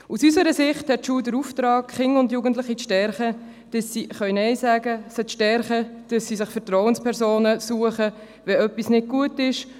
Aus unserer Sicht hat die Schule den Auftrag, Kinder und Jugendliche zu stärken, damit sie Nein sagen können, sie zu stärken, damit sie sich Vertrauenspersonen suchen, wenn etwas nicht gut ist.